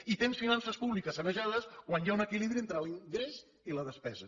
i tens finances públiques sanejades quan hi ha un equilibri entre l’ingrés i la despesa